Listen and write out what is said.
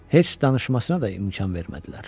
Heç danışmasına da imkan vermədilər.